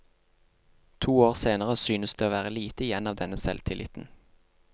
To år senere synes det å være lite igjen av denne selvtilliten.